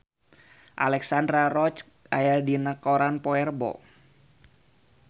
Alexandra Roach aya dina koran poe Rebo